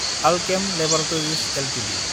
Alkem laboratories Ltd